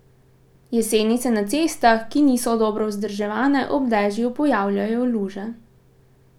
Jeseni se na cestah, ki niso dobro vzdrževane, ob dežju pojavljajo luže.